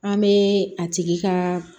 An bɛ a tigi kaa